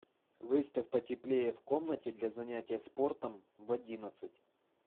выставь потеплее в комнате для занятия спортом в одиннадцать